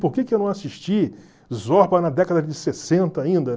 Por que que eu não assisti Zorba na década de sessenta ainda?